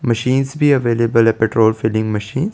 machines भी available है petrol filling machine --